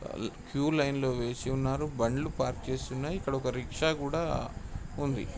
Queue line లో వేచి ఉన్నారు. బండ్లు పార్క్ చేసి ఉన్నాయి. ఇక్కడ ఒక రిక్షా కూడా ఉంది.